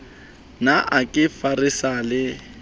ne a ka feresa le